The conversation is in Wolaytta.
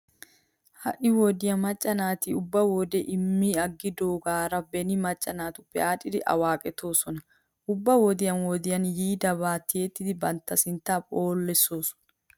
Ha"i wodiya macca naati ubba wodee immi aggidoogaara beni macca naatuppekka aadhdhidi awaaqetoosona. Ubba wodiyan wodiyan yiidaba tiyettidi bantta sinttaa phoolissoosona.